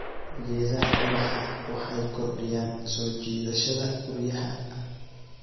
Geedaha ubaxa waxay kordhiyaan soo jiidashada guryaha.